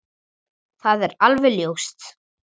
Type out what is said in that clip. Það er alveg ljóst.